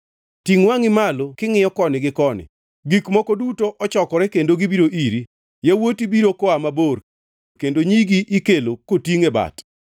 Tingʼ wangʼi malo kingʼiyo koni gi koni: Gik moko duto ochokore kendo gibiro iri; yawuoti biro koa mabor kendo nyigi ikelo kotingʼ e bat.